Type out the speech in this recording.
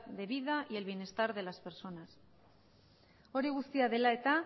de vida y el bienestar de las personas hori guztia dela eta